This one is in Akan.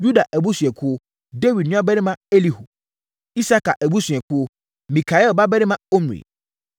Yuda abusuakuo: Dawid nuabarima Elihu; Isakar abusuakuo: Mikael babarima Omri;